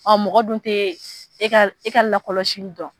Ɔ mɔgɔ dun tɛ e e ka lakɔlɔsili dɔn